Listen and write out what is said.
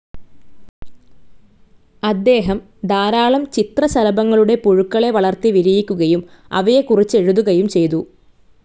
അദ്ദേഹം ധാരാളം ചിത്രശലഭങ്ങളുടെ പുഴുക്കളെ വളർത്തി വിരിയിക്കുകയും അവയെകുറിച്ചെഴുതുകയും ചെയ്തു.